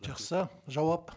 жақсы жауап